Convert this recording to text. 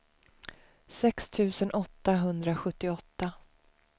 sex tusen åttahundrasjuttioåtta